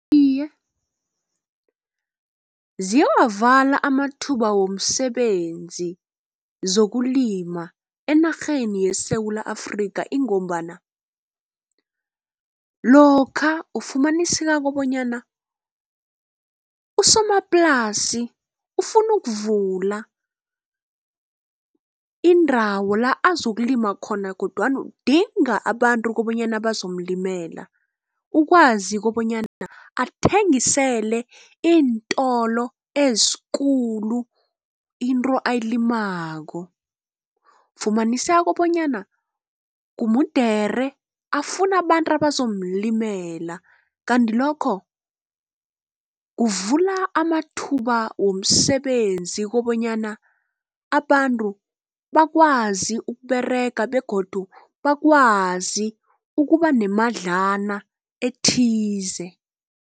Iye ziyawavala amathuba womsebenzi zokulima enarheni yeSewula Afrika ingombana, lokha ufumaniseka kobonyana usomaplasi ufuna ukuvula indawo la azokulima khona kodwana udinga abantu kobanyana bazomulimela. Ukwazi kobanyana athengisele iintolo ezikulu into abayilimako. Kufunaniseka bonyana mude afune abantu abazomulimela. Kandi lokho kuvula amathuba womsebenzi kobanyana abantu bakwazi ukuberega begodu bakwazi ukuba nemadlana ethize.